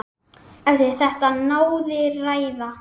Eftir þetta náði ræða